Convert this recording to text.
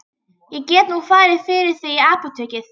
Ég get nú farið fyrir þig í apótekið.